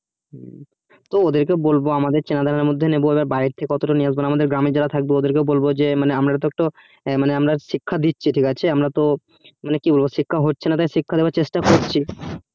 তো ওদের কে বলবো আমাদের মধ্যেই নেবো বা এবার বাহির থেকে অটটা নিয়ে আসবোনা গ্রামের থাকবে ওদের কে বলবো যে এ মানে মারা শিক্ষা দিচ্ছি ঠিক আছে আমরা তো মানে কি বলবো শিক্ষা হচ্ছে না শিক্ষা দেবার চেষ্টা করছি